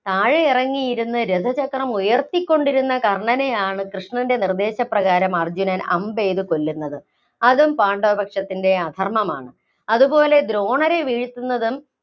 താഴെയിറങ്ങിയിരുന്ന് രഥചക്രം ഉയര്‍ത്തികൊണ്ടിരുന്ന കർണനെയാണ് കൃഷ്ണന്‍റെ നിര്‍ദ്ദേശപ്രകാരം അർജുനൻ അമ്പെയ്ത് കൊല്ലുന്നത്. അതും പാണ്ഡവപക്ഷത്തിന്‍റെ അധര്‍മ്മമാണ്. അതുപോലെ ദ്രോണ രെ വീഴ്ത്തുന്നതും